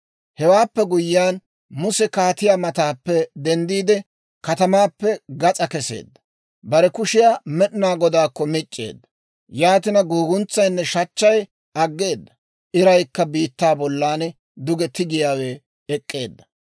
Hewaappe guyyiyaan Muse kaatiyaa mataappe denddiide, katamaappe gas'aa kesseedda. Bare kushiyaa Med'inaa Godaakko mic'c'eedda; yaatina guguntsaynne shachchay aggeedda; iraykka biittaa bollan duge tigettiyaawe ek'k'eedda.